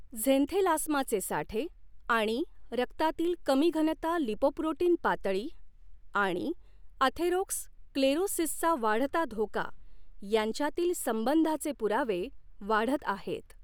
झेंथेलास्माचे साठे आणि रक्तातील कमी घनता लिपोप्रोटीन पातळी आणि अथेरोस्क्लेरोसिसचा वाढता धोका यांच्यातील संबंधाचे पुरावे वाढत आहेत.